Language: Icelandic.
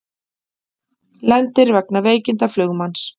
Lendir vegna veikinda flugmanns